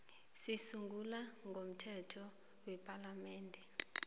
zisungulwe ngomthetho wepalamende